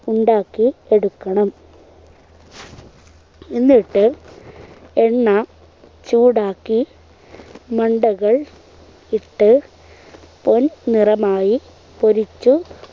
ഉണ്ടാക്കി എടുക്കണം എന്നിട്ട് എണ്ണ ചൂടാക്കി മണ്ടകൾ ഇട്ട് പൊൻ നിറമായി പൊരിച്ചു